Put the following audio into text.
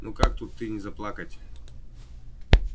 ну как тут ты не заплакать